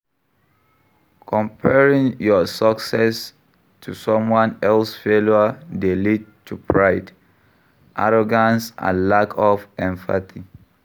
Comparing your success to someone else failure dey lead to pride, arrogance and lack of empathy.